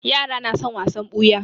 Yara na son wasan ɓuya